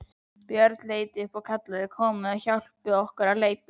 Björn leit upp og kallaði: Komiði og hjálpið okkur að leita!